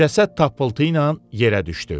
Cəsəd tapıltı ilə yerə düşdü.